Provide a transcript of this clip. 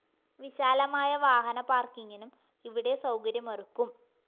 വിശാലമായ വാഹന പാര്‍ക്കിങ്ങിനും ഇവിടെ സൗകര്യമൊരുക്കും